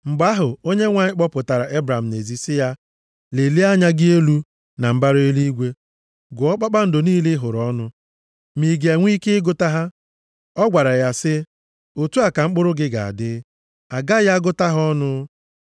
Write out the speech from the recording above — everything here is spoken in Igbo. Mgbe ahụ, Onyenwe anyị kpọpụtara Ebram nʼezi sị ya, “Lelie anya gị elu na mbara eluigwe, gụọ kpakpando niile ị hụrụ ọnụ, ma ị ga-enwe ike ịgụta ha.” Ọ gwara ya sị, “Otu a ka mkpụrụ gị ga-adị. A gaghị agụta ha ọnụ.”